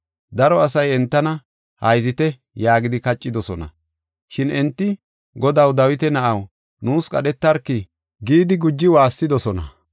Daro asay entana, “Hayzite” yaagidi kaccidosona. Shin enti, “Godaw, Dawita na7aw, nuus qadhetarki” gidi guji waassidosona.